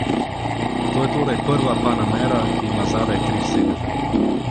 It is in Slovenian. To je torej prva panamera, ki ima zadaj tri sedeže.